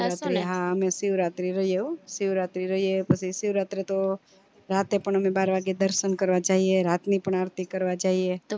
હા અમે શિવ રાત્રી રઈયે હો શિવરાત્રી રઈયે પછી શીવ્રત્રે તો રાતે પણ અમે બાર વાગે દર્શન કરવા જઈએ રાતની પણ આરતી કરવા જાઈએ